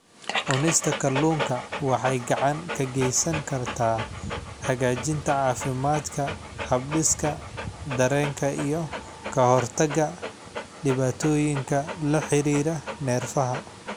Cunista kalluunka waxay gacan ka geysan kartaa hagaajinta caafimaadka habdhiska dareenka iyo ka hortagga dhibaatooyinka la xiriira neerfaha.